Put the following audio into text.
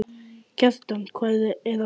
Kjartan, hvað er að frétta?